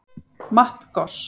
Matt Goss